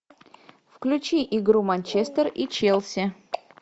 включи игру манчестер и челси